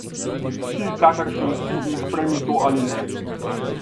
Si, kakršen si in sprejmi to ali ne.